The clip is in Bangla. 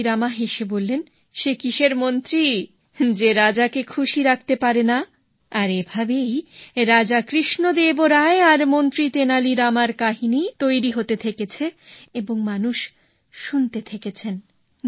তেনালি রাম হেসে বললেন সে কিসের মন্ত্রী যে রাজাকে খুশি রাখতে পারেনা আর এভাবেই রাজা কৃষ্ণদেব রায় আর মন্ত্রী তেনালী রামের কাহিনী তৈরি হতে থেকেছে এবং মানুষ শুনতে থেকেছেন